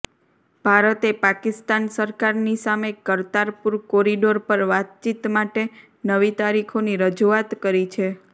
ભારતે પાકિસ્તાન સરકારની સામે કરતારપુર કોરિડોર પર વાતચીત માટે નવી તારીખોની રજૂઆત કરી છે